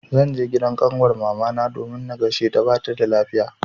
Zan je gidan ƙanwar mamana domin na gaisheta bata da lafiya.